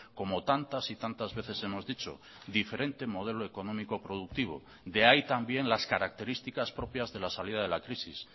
como tantas y tantas veces hemos dicho diferente modelo económico productivo de ahí también las características propias de la salida de la crisis